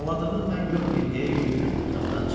Ağladığını mən görməyim deyə yüyürüb otaqdan çıxdı.